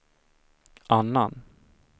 annan